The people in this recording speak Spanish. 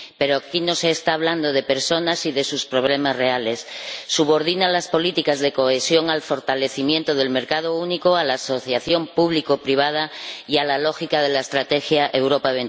Pero aquí no se habla de personas y de sus problemas reales subordinan las políticas de cohesión al fortalecimiento del mercado único, a la asociación público privada y a la lógica de la Estrategia Europa